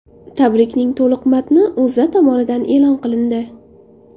Tabrikning to‘liq matni O‘zA tomonidan e’lon qilindi .